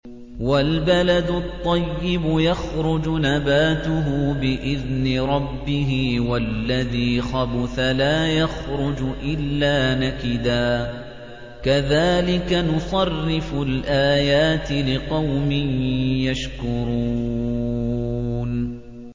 وَالْبَلَدُ الطَّيِّبُ يَخْرُجُ نَبَاتُهُ بِإِذْنِ رَبِّهِ ۖ وَالَّذِي خَبُثَ لَا يَخْرُجُ إِلَّا نَكِدًا ۚ كَذَٰلِكَ نُصَرِّفُ الْآيَاتِ لِقَوْمٍ يَشْكُرُونَ